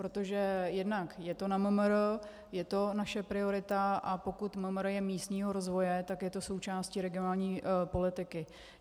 Protože jednak je to na MMR, je to naše priorita, a pokud MMR je místního rozvoje, tak je to součástí regionální politiky.